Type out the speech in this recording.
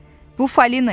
Bu Falina idi.